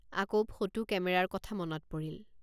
আকৌ ফটো কেমেৰাৰ কথা মনত পৰিল।